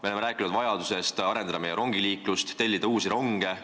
Me oleme rääkinud vajadusest arendada rongiliiklust, tellida uusi ronge.